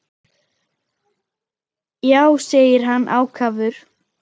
Já, segir hann ákafur.